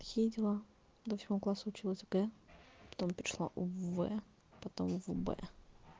такие дела до восьмого класса училась в г потом перешла в в потом в б